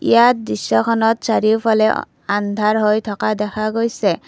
ইয়াত দৃশ্যখনত চাৰিওফালে অ আন্ধাৰহৈ থকা দেখা গৈছে।